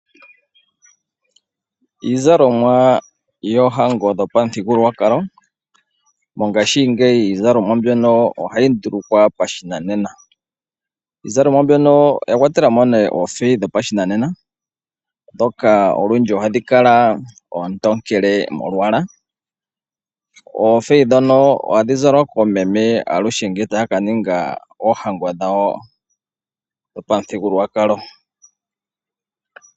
Iizalomwa yoohango dhopamudhigulwakalo. Mongashiingeyi iizalomwa mbyono ohayi dhulungwa pashinanena. Iizalomwa mbyono oya kwatelamo nee oofeyi dhopashinanena , dhoka olundji ohadhi kala oontokele molwaala. Oofeyi dhono ohadhi zalwa koomeme aluhe nglee taa ka ninga oohango dhawo dhopamudhigulwakalo.